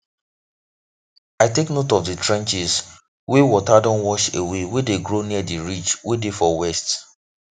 i take note of the trenches wey water don wash away wey dey grow near the ridge wey dey for west